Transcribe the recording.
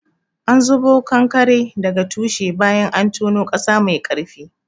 An zubo kanakaren daga tushe bayan an tono ƙasa mai ƙarfi.